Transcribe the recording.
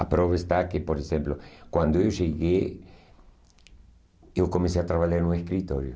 A prova está que, por exemplo, quando eu cheguei, eu comecei a trabalhar em um escritório.